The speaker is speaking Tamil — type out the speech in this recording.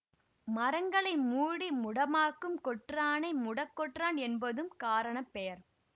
மரங்களை மூடி முடமாக்கும் கொற்றானை முடக்கொற்றான் என்பதும் காரண பெயர்